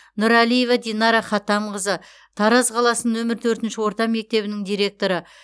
нұралиева динара хатамқызы тараз қаласының нөмір төртінші орта мектебінің директоры